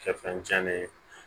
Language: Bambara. Kɛ fɛn tiɲɛnen ye